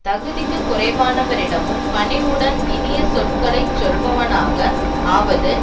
தகுதிக்குக் குறைவானவரிடமும் பணிவுடன் இனிய சொற்களை சொல்பவனாக ஆவது